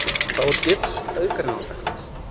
Þá er gifs auðgreinanlegt.